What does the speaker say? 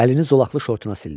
Əlini zolaqlı şortuna sildi.